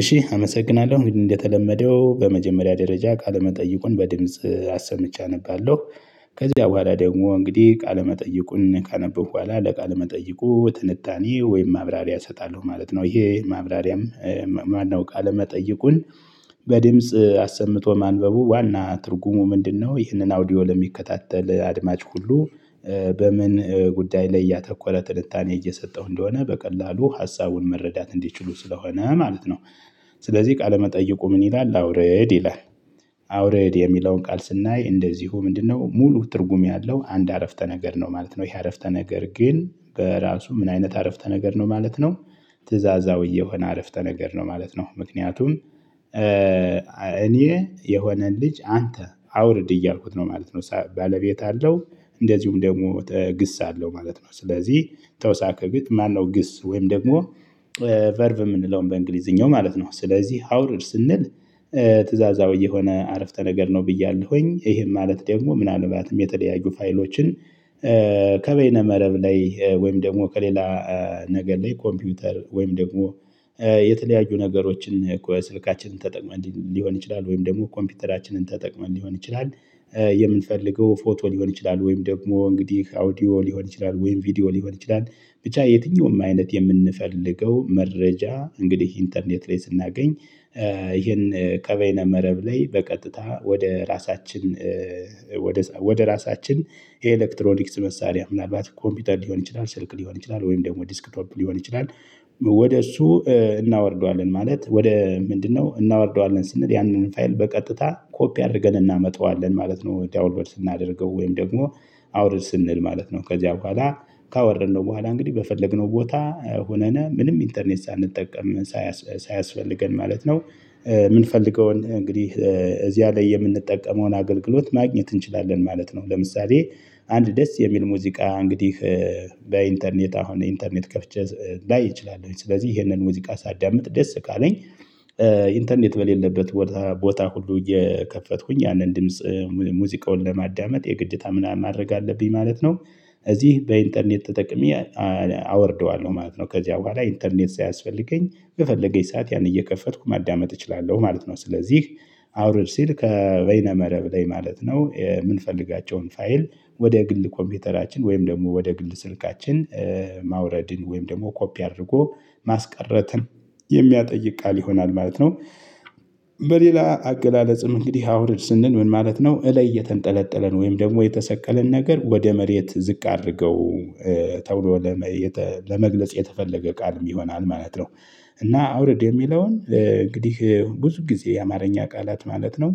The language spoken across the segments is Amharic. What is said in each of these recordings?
እሺ አመሰግናለሁ እንግዲህ እንደተለመደው በመጀመሪያ ደረጃ ቃለመጠይቁን በድምጽ አሰምቼ አነባለሁ፤ ከዚያ በኋላ ደግሞ እንግዲህ ቃለ መጠይቁን ካነበብኩ በኋላ ለቃለ መጠይቁ ትንታኔ ወይም ማብራሪያ እሰጣለሁ ማለት ነው። ይሄ ማብራሪያም ማነው ቃለመጠይቁን በድምጽ አሰምቶ ማንበቡ ዋና ትርጉሙ ምንድነው ይህንን አውዲዮ ለሚከታተል አድማጭ ሁሉ በምን ጉዳይ ላይ ያተኮረ ትልታኔ እየሰጠሁ እንደሆነ በቀላሉ ሀሳቡን መረዳት እንዲችሉ ስለሆነ ማለት ነው። ስለዚህ "ቃለመጠይቁ ምን ይላል?" አውረድ ይላል። አውርድ የሚለውን ቃል ስናይ እንደዚሁ ምንድነው ሙሉ ትርጉም ያለው አንድ አረፍተ ነገር ነው ማለት ነው። ይሄ አረፍተ ነገር ግን በራሱ ምን አይነት አረፍተ ነገር ነው ማለት ነው ትእዛዛዊ የሆነ አረፍተ ነገር ነው ማለት ነው። ምክንያቱም እኔ የሆነን ልጅ አንተ አውርድ እያልኩት ነው ማለት ነው ባለቤት አለው እንደዚሁም ደግሞ ግስ አለው ማለት ነው። ስለዚህ ተውሳከግት ማነው ግስ ወይም ደግሞ ቨርቭ የምንለውን በእንግሊዝኛው ማለት ነው ስለዚህ አውርድ ስንል ትእዛዛዊ የሆነ አረፍተ ነገር ነው ብያለሁኝ ይሄም ማለት ደግሞ ምናልባትም የተለያዩ ፋይሎችን ከበይነ መረብ ላይ ወይም ደግሞ ከሌላ ነገር ላይ ኮምፒውተር ወይም ደግሞ የተለያዩ ነገሮችን ከ ስልካችንን ተጠቅመን ሊሆን ይችላል፤ ወይም ደግሞ ኮምፒውተራችንን ተጠቅመን ሊሆን ይችላል የምንፈልገው ፎቶ ሊሆን ይችላል፤ ወይም ደግሞ እንግዲህ አውዲዮ ሊሆን ይችላል፤ ወይም ቪዲዮ ሊሆን ይችላል፤ ብቻ የትኛውም አይነት የምንፈልገው መረጃ እንግዲህ ኢንተርኔት ላይ ስናገኝ ይሄን ከበይነ መረብ ላይ በቀጥታ ወደ ራሳችን ወደ ወደ ራሳችን የኤሌክትሮኒክስ መሳሪያ ምናልባት ኮምፒውተር ሊሆን ይችላል፣ ስልክ ሊሆን ይችላል፣ ወይም ደግሞ ዲስክቶፕ ሊሆን ይችላል ወደ እሱ እናወርደዋለን ማለት ወደ ምንድነው እናወርደዋለን ስንል ያንን ፋይል በቀጥታ ኮፒ አድርገን እናመጣዋለን ማለት ነው ዳውንሎድ ስናደርገው ወይም ደግሞ አውርድ ስንል ማለት ነው። ከዚያ በኋላ ካወረድነው በኋላ እንግዲህ በፈለግነው ቦታ ሆነን ምንም ኢንተርኔት ሳንጠቀም ሳያስ ሳያስፈልገን ማለት ነው የምንፈልገውን እንግዲህ እዚያ ላይ የምንጠቀመውን አገልግሎት ማግኘት እንችላለን ማለት ነው። ለምሳሌ አንድ ደስ የሚል ሙዚቃ እንግዲህ በኢንተርኔት አሁን ኢንተርኔት ከፍቼ ላይ እችላለሁ ስለዚህ ይሄንን ሙዚቃ ሳዳምጥ ደስ ካለኝ ኢንተርኔት በሌለበት ቦታ ቦታ ሁሉ እየከፈትኩኝ ያንን ድምጽ ሙዚቃውን ለማዳመጥ የግዴታ ምና ማድረግ አለብኝ ማለት ነው እዚህ በኢንተርኔት ተጠቅሜ አወርደዋለሁ ማለት ነው። ከዚያ በኋላ ኢንተርኔት ሳያስፈልገኝ በፈለገኝ ሰዓት ያን እየከፈትኩ ማዳመጥ እችላለሁ ማለት ነው። ስለዚህ አውርድ ሲል ከበይነ መረብ ላይ ማለት ነው። የምንፈልጋቸውን ፋይል ወደ ግል ኮምፒውተራችን ወይም ደግሞ ወደ ግል ስልካችን ማውረድን ወይም ደግሞ ኮፒ አድርጎ ማስቀረትን የሚያጠይቅ ቃል ይሆናል ማለት ነው። በሌላ አገላለጽም እንግዲህ አውርድ ስንል ምን ማለት ነው እላይ የተንጠለጠለን ወይም ደግሞ የተሰቀለን ነገር ወደ መሬት ዝቅ አድርገው ተብሎ ለመ የጠ ለመግለጽ የተፈለገ ቃልም ይሆናል ማለት ነው፤ እና አውርድ የሚለውን እንግዲህ ብዙ ጊዜ የአማርኛ ቃላት ማለት ነው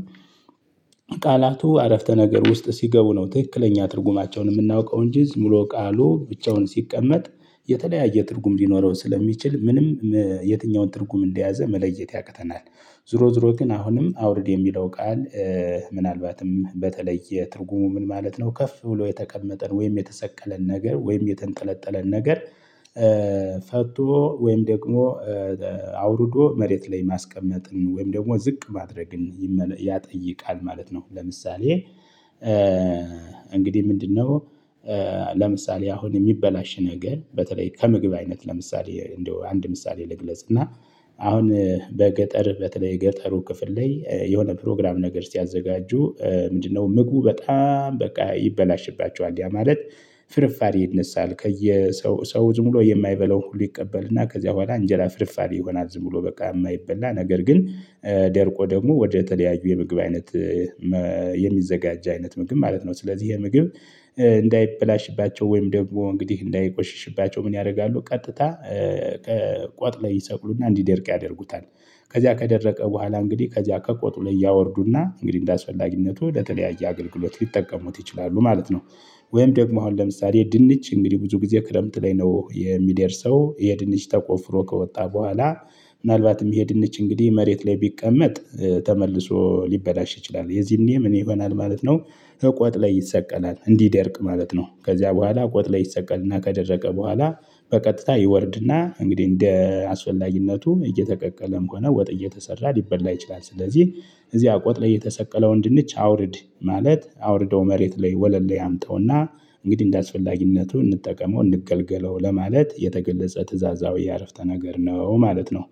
ቃላቱ አረፍተ ነገር ውስጥ ሲገቡ ነው ትክክለኛ ትርጉማቸውን የምናውቀው እንጂ ዝም ብሎ ቃሉ ብቻውን ሲቀመጥ የተለያየ ትርጉም ሊኖረው ስለሚችል ምንም የትኛውን ትርጉም እንደያዘ መለየት ያቅተናል። ዙሮ ዙሮ ግን አሁንም አውርድ የሚለው ቃል ምናልባትም በተለየ ትርጉሙ ምን ማለት ነው ከፍ ብሎ የተቀመጠን ወይም የተሰቀለን ነገር ወይም የተንጠለጠለን ነገር ፈቶ ወይም ደግሞ አውርዶ መሬት ላይ ማስቀመጥን ወይም ደግሞ ዝቅ ማድረግን ይመለ ያጠይቃል ማለት ነው። ለምሳሌ እንግዲህ ምንድነው ለምሳሌ አሁን የሚበላሽ ነገር በተለይ ከምግብ አይነት ለምሳሌ እንደው አንድ ምሳሌ ልግለጽ እና አሁን በገጠር በተለይ ገጠሩ ክፍል ላይ የሆነ ፕሮግራም ነገር ሲያዘጋጁ ምንድነው ምግቡ በጣም በቃ ይበላሽባቸዋል፤ ያ ማለት ፍርፋሬ ይነሳል ከየሰው ሰው ዝም ብሎ የማይበላው ሁሉ ይቀበልና ከዚያ በኋላ እንጀራ ፍርፋሪ ይሆናል ዝም ብሎ በቃ የማይበላ ነገር ግን ደርቆ ደግሞ ወደ ተለያዩ የምግብ አይነት መ የሚዘጋጃ አይነት ምግብ ማለት ነው። ስለዚህ ይሄ ምግብ እንዳይበላሽባቸው ወይም ደግሞ እንግዲህ እንዳይቆሽሽባቸው ምን ያደርጋሉ ቀጥታ ቋጥ ላይ ይሰቅሉና እንዲደርቅ ያደርጉታል። ከዚያ ከደረቀ በኋላ እንግዲህ ከዚያ ከቆጡ ላይ ያወርዱና እንግዲህ እንዳስፈላጊነቱ ለተለያየ አገልግሎት ሊጠቀሙት ይችላሉ ማለት ነው። ወይም ደግሞ አሁን ለምሳሌ ድንች እንግዲህ ብዙ ጊዜ ክረምት ላይ ነው የሚደርሰው። የድንች ተቆፍሮ ከወጣ በኋላ ምናልባትም ይሄ ድንች እንግዲህ መሬት ላይ ቢቀመጥ ተመልሶ ሊበላሽ ይችላል። የዚህኔ ምን ይሆናል ማለት ነው ከቆጥ ላይ ይሰቀላል እንዲደርቅ ማለት ነው። ከዚያ በኋላ ቆጥ ላይ ይሰቀልና ከደረቀ በኋላ በቀጥታ ይወርድና እንግዲህ እንደ አስፈላጊነቱም እየተቀቀለም ሆነ ወጥ እየተሰራ ሊበላ ይችላል። ስለዚህ እዚያ ቆጥ ላይ የተሰቀለውን ድንች አውርድ ማለት አውርደው መሬት ላይ ወለል ላይ አምጠውና እንግዲህ እንዳስፈላጊነቱ እንጠቀመው እንገልገለው ለማለት የተገለጸ ትእዛዛዊ አረፍተ ነገር ነው ማለት ነው።